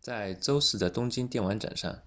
在周四的东京电玩展上